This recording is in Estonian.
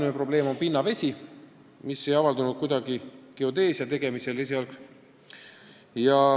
Suur probleem on pinnavesi, mis esialgsel geodeesiatööde tegemisel ei avaldunud.